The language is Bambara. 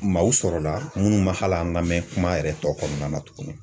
Maaw sɔrɔla ,munnu ma hali an lamɛn kuma yɛrɛ tɔ kɔnɔna na tuguni